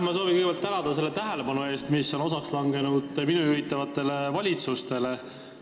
Ma soovin kõigepealt tänada selle tähelepanu eest, mis on osaks langenud minu juhitavatele valitsustele!